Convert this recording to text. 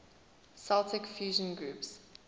celtic fusion groups